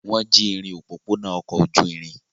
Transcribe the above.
Wọ́n jí irin òpópónà ọkọ̀ ojú irin?